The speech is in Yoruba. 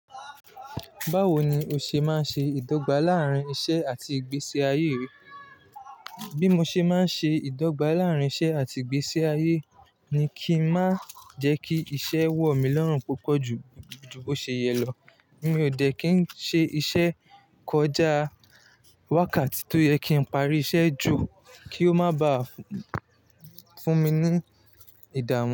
Báwo ni o ṣe máa ń ṣe ìdọ́gba láàárín iṣẹ́ àti ìgbésí ayé rẹ? Bí mo ṣe máa ń ṣe ìdọ́gba láàárín iṣẹ́ àti ìgbésí ayé ni kí n má jẹ́ kí iṣẹ́ wọ̀ mí lọ́run púpọ̀ ju, ju bó ṣe yẹ lọ. Mi ò jẹ́ kí n ṣe iṣẹ́ kọjá wákàtí tó yẹ kí n parí iṣẹ́ ju, kí ó má bá fún mi ní ìdààmú.